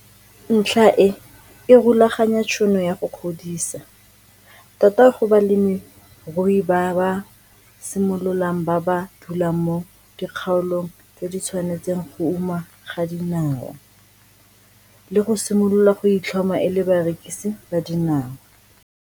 Ntlha e e rulaganya tšhono ya go godisa, tota go balemirui ba ba simololang ba ba dulang mo dikgaolong tse di tshwanetseng go uma ga dinawa, le go simolola go itlhoma e le barekisi ba dinawa.